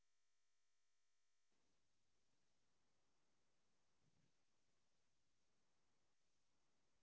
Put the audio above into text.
சரி okay okay mam. சரி mam இந்த menu வந்து எத்தினி பேர்க்கு mam check பண்ணனும்?